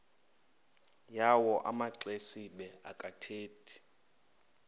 yawo amaxesibe akathethi